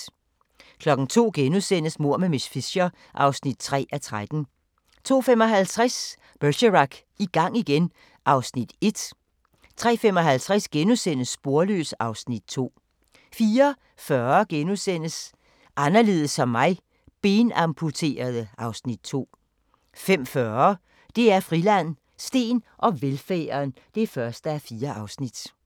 02:00: Mord med miss Fisher (3:13)* 02:55: Bergerac: I gang igen (Afs. 1) 03:55: Sporløs (Afs. 2)* 04:40: Anderledes som mig - benamputerede (Afs. 2)* 05:40: DR Friland: Steen og velfærden (1:4)